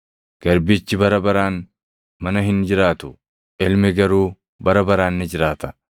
Garbichi bara baraan mana hin jiraatu; ilmi garuu bara baraan ni jiraata.